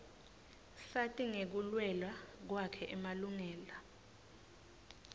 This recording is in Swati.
sati ngekuluela kwakhe emalungela